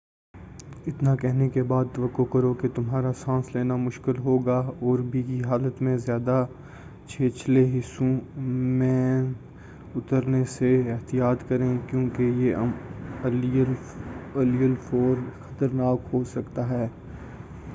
اتنا کہنے کے بعد توقع کرو کہ تمہارا سانس لینا مشکل ہوگا اور بھیگی حالت میں زیادہ چھچھلے حصوں مین اترنے سے احتیاط کریں کیوں کہ یہ علی الفور خطرناک ہو سکتا ہے